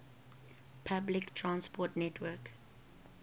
public transport network